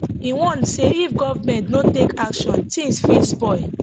e warn say if government no take action tins fit spoil